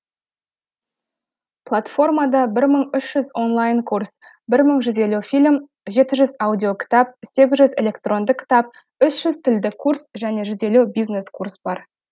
платформада бір мың үш жүз онлайн курс бір мың жүз елі фильм жеті жүз аудио кітап сегіз жүз электронды кітап үщ жүз тілдік курс және жүз елу бизнес курс бар